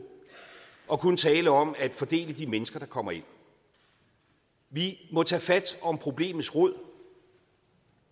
og kun tale om at fordele de mennesker der kommer ind vi må tage fat om problemets rod